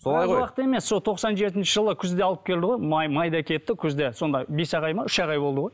емес сол тоқсан жетінші жылы күзде алып келді ғой май майда кетті күзде сонда бес ақ ай ма үш ақ ай болды ғой